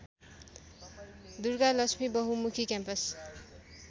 दुर्गालक्ष्मी बहुमुखी क्याम्पस